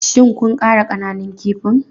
Shin kun ƙara ƙananun kifin?